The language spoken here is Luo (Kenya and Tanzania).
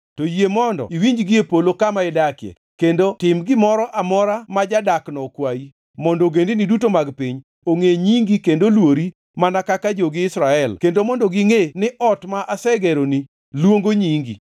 to yie mondo iwinji gie polo kama idakie kendo tim gimoro amora ma jadakno okwayi mondo ogendini duto mag piny ongʼe nyingi kendo oluori mana kaka jogi Israel kendo mondo gingʼe ni ot ma asegeroni luongo nyingi.